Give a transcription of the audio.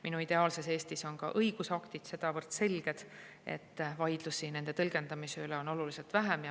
Minu ideaalses Eestis on ka õigusaktid sedavõrd selged, et vaidlusi nende tõlgendamise üle on oluliselt vähem.